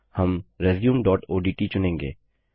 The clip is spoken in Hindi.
हम resumeओडीटी चुनेंगे